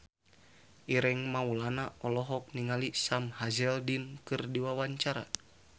Ireng Maulana olohok ningali Sam Hazeldine keur diwawancara